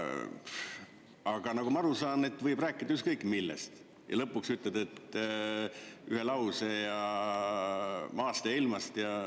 Aga nagu ma aru saan, võib rääkida ükskõik millest ja lõpuks ütled ühe lause maast ja ilmast.